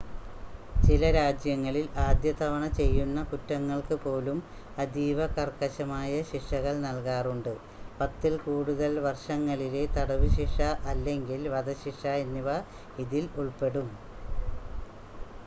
ചില രാജ്യങ്ങളിൽ ആദ്യതവണ ചെയ്യുന്ന കുറ്റങ്ങൾക്കു പോലും അതീവ കർക്കശമായ ശിക്ഷകൾ നൽകാറുണ്ട് ; 10 ൽ കൂടുതൽ വർഷങ്ങളിലെ തടവ് ശിക്ഷ അല്ലെങ്കിൽ വധശിക്ഷ എന്നിവ ഇതിൽ ഉൾപ്പെടും